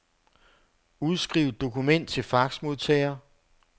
Udskriv dokument til faxmodtager.